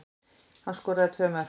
Hann skoraði tvö mörk